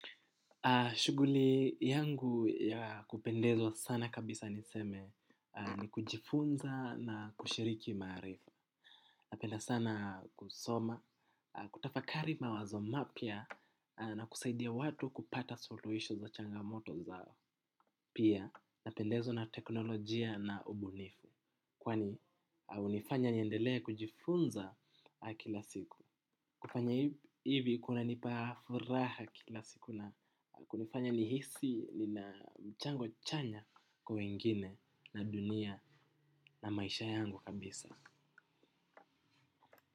Shuguli yangu ya kupendezwa sana kabisa niseme ni kujifunza na kushiriki maarifa. Napenda sana kusoma, kutafakari mawazo mapya na kusaidia watu kupata suluhisho za changamoto zao. Pia napendezwa na teknolojia na ubunifu. Kwani unifanya niendelea kujifunza kila siku. Kufanya hivi kunanipa furaha kila siku na kunifanya nihisi nina mchango chanya kwa wengine na dunia na maisha yangu kabisa.